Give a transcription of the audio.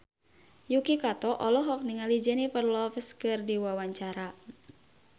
Yuki Kato olohok ningali Jennifer Lopez keur diwawancara